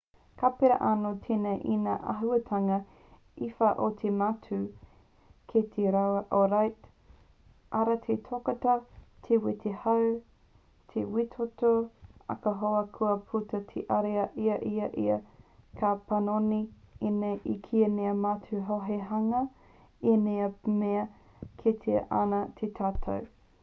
ka pērā anō tēnei i ngā āhuatanga e whā o te matū ki te raupapa ōrite: arā te totoka te wē te hau te wētoto ahakoa kua puta te ariā i a ia ka panoni ēnei ki ngā matū hou hei hanga i ngā mea e kitea ana e tātou